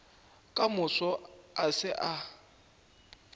ka moso a se a